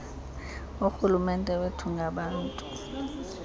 urhulumente wethu ngabantu